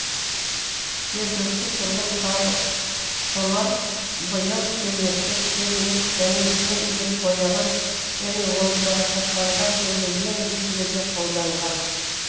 жергілікті тұрғын халық томар бояу кермекті теріні және жүн илеп бояған және оны жарақаттанған жерге ем ретінде де қолданған